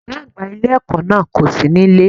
Ògá àgbà ilé èkó náà kò sí nílé